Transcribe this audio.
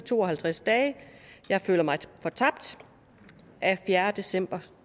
i to og halvtreds dage jeg føler mig fortabt af fjerde december